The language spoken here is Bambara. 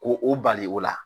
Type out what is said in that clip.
Ko o bali o la